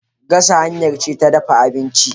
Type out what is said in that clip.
Gasa hanya ce ta dafa abinci.